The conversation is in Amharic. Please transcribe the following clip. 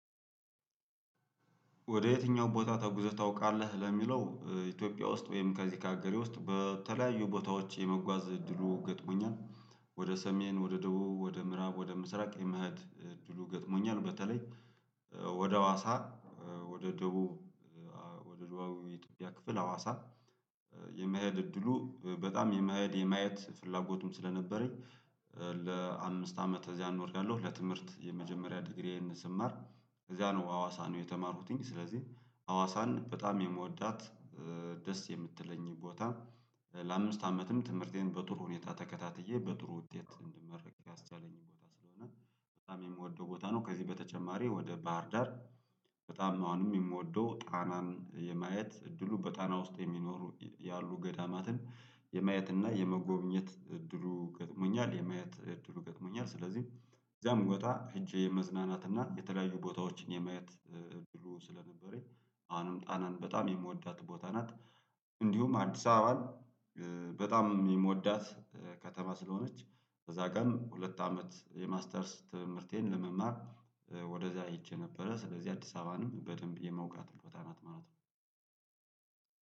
ወደ የትኛው ቦታ ተጉዞ ታውቃለህ? ለሚለው ኢትዮጵያ ውስጥ ወይም ከዚህ ከአገሬ ውስጥ በተለያዩ ቦታዎች የመጓዝ እድሉ ገጥሞኛል። ወደ ሰሜን ወደ ደቡብ ወደ ምዕራብ ወደ ምስራቅ የመሄድ እድሉ ገጥሞኛል። በተለይ ወደ ሀዋሳ ወደ ደቡብ ወደ ደቡብ የኢትዮጵያ ክፍል ሀዋሳ የመሄድ እድሉ በጣም የመሄድ የማየት ፍላጎቱም ስለነበረኝ። ለአምስት አመት እዚያ ኖርያለሁ ለትምህርት የመጀመሪያ ዲግሪዬን ስማር እዚያ ነው ሀዋሳ ነው የተማርኩትኝ። ስለዚህ ሀዋሳን በጣም የምወዳት ደስ የምትለኝ ቦታ። ለአምስት አመትም ትምህርቴን በጥሩ ሁኔታ ተከታትዬ በጥሩ ውጤት እንድመርቅ ያስቻለኝ ቦታ ስለሆነ በጣም የምወደው ቦታ ነው። ከዚህ በተጨማሪ ወደ ባህርዳር በጣም አሁንም የምወደው ጣናን የማየት እድሉ በጣና ውስጥ የሚኖሩ ያሉ ገዳማትን የማየት እና የመጎብኘት እድሉ ገጥሞኛል። የማየት እድሉ ገጥሞኛል ስለዚህ እዛ ብመጣ ሄጄ የመዝናናት እና የተለያዩ ቦታዎችን የማየት እድሉ ስለነበረኝ አሁንም ጣናን በጣም የምወዳት ቦታ ናት። እንዲሁም አዲስ አበባን በጣም የምወዳት ከተማ ስለሆነች። ከዛ ቀን ሁለት አመት የማስተርስ ትምህርቴን ለመማር ወደዚያ ሄጄ ነበረ ስለዚህ አዲስ አበባንም በደንብ የማውቃት ቦታ ናት ማለት ነው።